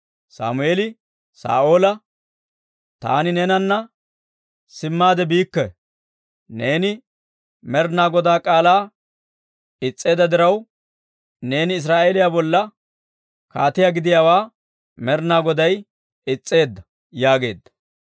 Sammeeli Saa'oola, «Taani neenana simmaade biikke! Neeni Med'inaa Godaa k'aalaa is's'eedda diraw, neeni Israa'eeliyaa bolla kaatiyaa gidiyaawaa Med'inaa Goday is's'eedda» yaageedda.